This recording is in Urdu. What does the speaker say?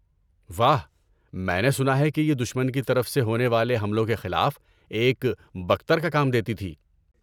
واہ۔ میں نے سنا ہے کہ یہ دشمن کی طرف سے ہونے والے حملوں کے خلاف ایک بکتر کا کام دیتی تھی۔